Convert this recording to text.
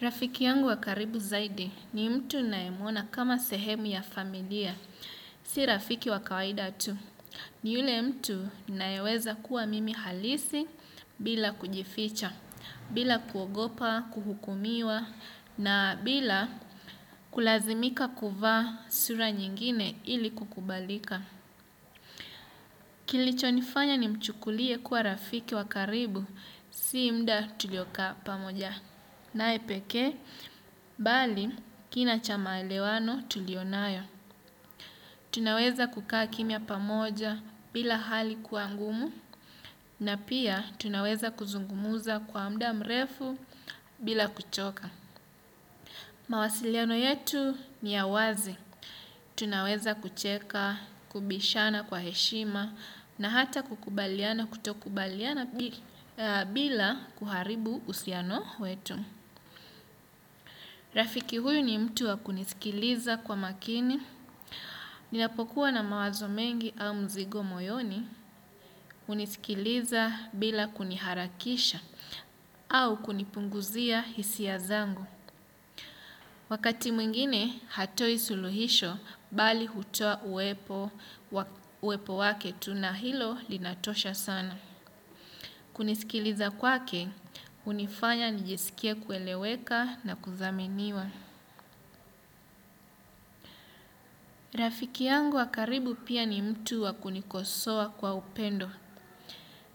Rafiki yangu wa karibu zaidi ni mtu ninayemuona kama sehemu ya familia, si rafiki wa kawaida tu. Ni yule mtu ninaye weza kuwa mimi halisi bila kujificha, bila kuogopa, kuhukumiwa, na bila kulazimika kuvaa sura nyingine ili kukubalika. Kilicho nifanya nimchukulie kuwa rafiki wa karibu, si muda tulio kaa pa moja. Naye pekee, bali kina cha maelewano tuliyo nayo. Tunaweza kukaa kimya pamoja bila hali kuwa ngumu na pia tunaweza kuzungumza kwa muda mrefu bila kuchoka. Mawasiliano yetu ni ya wazi. Tunaweza kucheka, kubishana kwa heshima na hata kukubaliana kutokubaliana bila kuharibu usiano wetu. Rafiki huyu ni mtu wa kunisikiliza kwa makini, ninapokuwa na mawazo mengi au mzigo moyoni, unisikiliza bila kuniharakisha, au kunipunguzia hisia zangu. Wakati mwingine, hatoi suluhisho, bali hutoa uwepo wake tu na hilo linatosha sana. Kunisikiliza kwake, unifanya nijisikiw kueleweka na kudhaminiwa. Rafiki yangu wa karibu pia ni mtu wa kunikosoa kwa upendo.